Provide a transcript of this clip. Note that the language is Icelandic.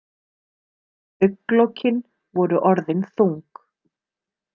Augnlokin voru orðin þung.